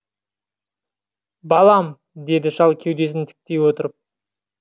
балам деді шал кеудесін тіктей отырып